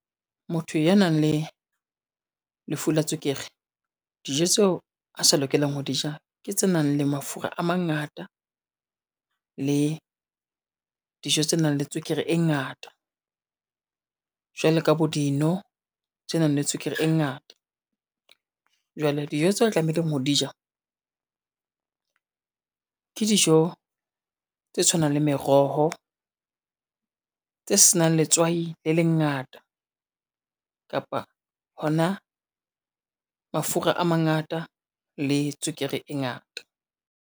Motho ya nang le, lefu la tswekere dijo tseo a sa lokelang ho di ja ke tse nang le mafura a mangata le dijo tse nang le tswekere e ngata. Jwale ka bo dino tse nang le tswekere e ngata, jwale dijo tseo o tlameileng ho di ja, ke dijo tse tshwanang le meroho, tse senang letswai le lengata kapa hona mafura a mangata le tswekere e ngata.